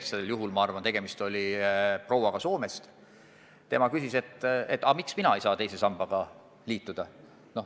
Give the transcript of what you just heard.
Näiteks üks konkreetne inimene – tegemist oli vist prouaga Soomest – küsis, miks tema ei saa teise sambaga liituda.